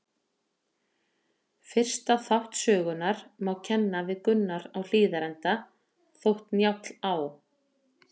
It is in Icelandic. Fyrsta þátt sögunnar má kenna við Gunnar á Hlíðarenda, þótt Njáll á